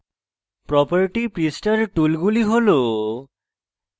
properties পৃষ্ঠার টুলগুলি has